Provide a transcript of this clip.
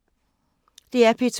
DR P2